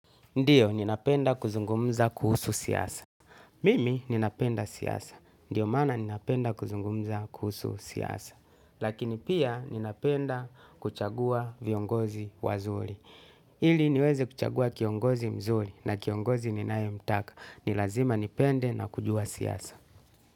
Ndiyo, ninapenda kuzungumza kuusu siasa. Mimi ninapenda siasa. Ndio maana ninapenda kuzungumza kuusu siasa lakini pia ninapenda kuchagua viongozi wazuli. Ili niweze kuchagua kiongozi mzuli na kiongozi ninaye mtaka. Nilazima nipende na kujua siyasa.